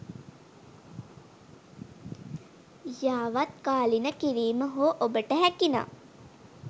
යාවත්කාලින කිරීම හෝ ඔබට හැකිනම්